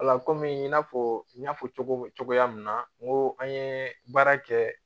kɔmi i n'a fɔ n y'a fɔ cogo min cogoya min na n ko an ye baara kɛ